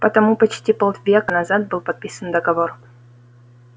потому почти полвека назад был подписан договор